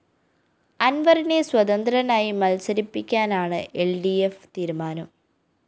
അന്‍വറിനെ സ്വതന്ത്രനായി മത്സരിപ്പിക്കാനാണ് L D F തീരുമാനം